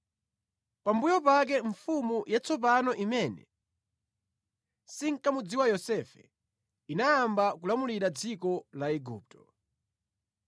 Pambuyo pake mfumu yatsopano imene sinkamudziwa Yosefe, inayamba kulamulira dziko la Igupto.